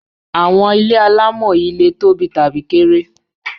Àwọn ilé alámọ̀ yìí le tóbi tàbí kéré.